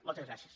moltes gràcies